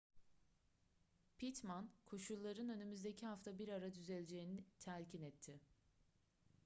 pittman koşulların önümüzdeki hafta bir ara düzeleceğini telkin etti